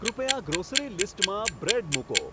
કૃપયા ગ્રોસરી લીસ્ટમાં બ્રેડ મૂકો